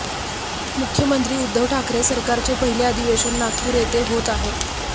मुख्यमंत्री उद्धव ठाकरे सरकारचे पहिले अधिवेशन नागपूर येथे होत आहे